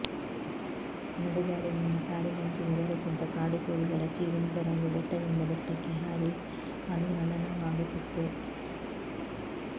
ನಡುಗಾಡಿನಿಂದ ಕಾಡಿನಂಚಿಗೆ ಬರುತ್ತಿದ್ದ ಕಾಡುಕೋಳಿಗಳ ಚೀರಿಂಚರವು ಬೆಟ್ಟದಿಂದ ಬೆಟ್ಟಕ್ಕೆ ಹಾರಿ ಅನುರಣನವಾಗುತ್ತಿತ್ತು